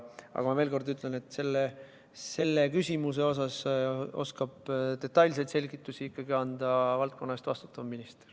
Aga ma veel kord ütlen, et selle küsimuse kohta oskab detailseid selgitusi anda valdkonna eest vastutav minister.